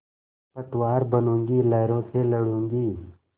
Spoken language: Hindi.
पतवार बनूँगी लहरों से लडूँगी